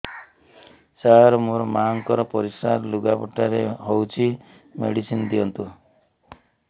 ସାର ମୋର ମାଆଙ୍କର ପରିସ୍ରା ଲୁଗାପଟା ରେ ହଉଚି ମେଡିସିନ ଦିଅନ୍ତୁ